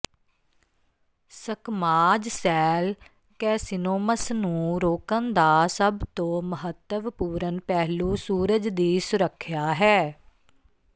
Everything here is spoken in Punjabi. ਸਕਮਾਜ ਸੈਲ ਕੈਸਿਨੋਮਸ ਨੂੰ ਰੋਕਣ ਦਾ ਸਭ ਤੋਂ ਮਹੱਤਵਪੂਰਨ ਪਹਿਲੂ ਸੂਰਜ ਦੀ ਸੁਰੱਖਿਆ ਹੈ